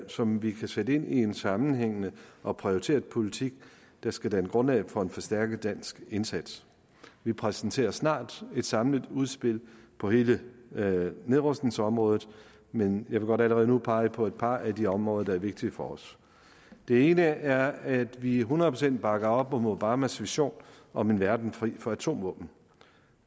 som vi kan sætte ind i en sammenhængende og prioriteret politik der skal danne grundlag for en forstærket dansk indsats vi præsenterer snart et samlet udspil på hele nedrustningsområdet men jeg vil godt allerede nu pege på et par af de områder der er vigtige for os det ene er at vi hundrede procent bakker op om obamas vision om en verden fri for atomvåben